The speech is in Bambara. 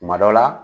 Kuma dɔ la